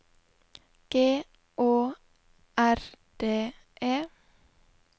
G Å R D E